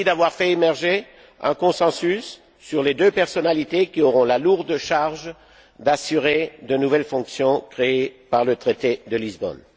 Merci d'avoir fait émerger un consensus sur les deux personnalités qui auront la lourde charge d'assurer de nouvelles fonctions créées par le traité de Lisbonne.